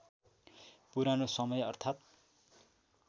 पुरानो समय अर्थात्